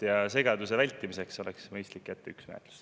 Ja segaduse vältimiseks oleks mõistlik jätta menetlusse neist üks.